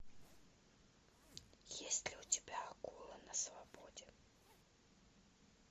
есть ли у тебя акула на свободе